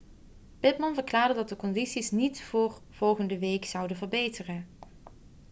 pittman verklaarde dat de condities niet voor volgende week zouden verbeteren